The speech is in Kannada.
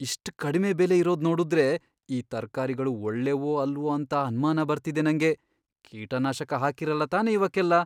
ಇಷ್ಟ್ ಕಡ್ಮೆ ಬೆಲೆ ಇರೋದ್ ನೋಡುದ್ರೆ, ಈ ತರ್ಕಾರಿಗಳು ಒಳ್ಳೇವೋ ಅಲ್ವೋ ಅಂತ ಅನ್ಮಾನ ಬರ್ತಿದೆ ನಂಗೆ, ಕೀಟನಾಶಕ ಹಾಕಿರಲ್ಲ ತಾನೇ ಇವಕ್ಕೆಲ್ಲ!